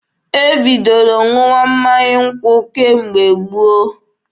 E bidoro ṅụwa mmanya nkwụ kemgbe gboo.